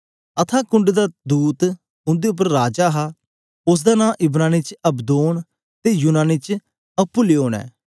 अथाह कुंड दा दूत उंदे उपर राजा हा उस्स दा नां इब्रानी च अबदोन ते यूनानी च अप्पुलयोन ऐ